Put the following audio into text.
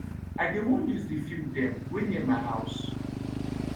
i dey wan use de field dem wey near my house